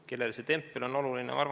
Kellele see tempel on oluline?